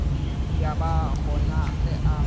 ya ba gona ge a